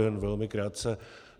Jen velmi krátce.